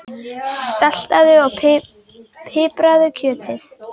Saltaðu og pipraðu kjötið.